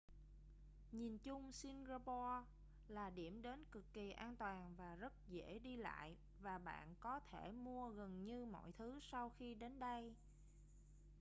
nhìn chung singapore là điểm đến cực kỳ an toàn và rất dễ đi lại và bạn có thể mua gần như mọi thứ sau khi đến đây